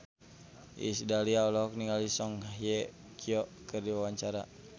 Iis Dahlia olohok ningali Song Hye Kyo keur diwawancara